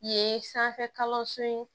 Ye sanfɛ kalanso in